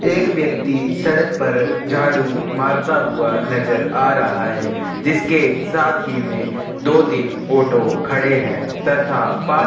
एक व्यक्ति सड़क पर झाड़ूु मरता हुआ नज़र आ रहा है जिसके साथ ही में दो तीन ऑटो खड़े है तथा पास ही में--